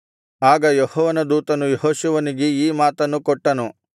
ಆಗ ಯೆಹೋವನ ದೂತನು ಯೆಹೋಶುವನಿಗೆ ಈ ಮಾತನ್ನು ಕೊಟ್ಟನು